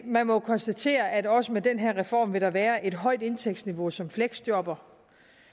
man må jo konstatere at også med den her reform vil der være et højt indtægtsniveau som fleksjobber